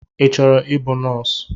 I chọrọ ịbụ nọọsụ?